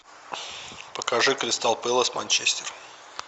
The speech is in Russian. покажи кристал пэлас манчестер